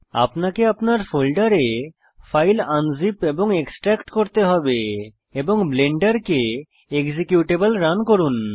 আপনাকে আপনার ফোল্ডারে ফাইল আনজিপ এবং এক্সট্রাক্ট করতে হবে এবং ব্লেন্ডারকে এক্সিকিউটেবল রান করুন